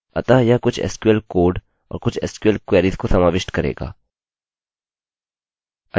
अतः यह कुछ sql कोड और कुछ sql क्वेरीस को समाविष्ट करेगा